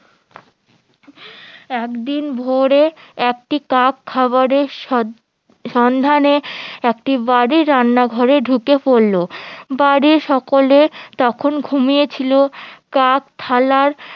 একদিন ভোরে একটি কাক খাবারের সন্ধানে একটি বাড়ির রান্না ঘিরে ঢুকে পড়লো বাড়ির সকলে তখন ঘুমিয়ে ছিল কাক থালার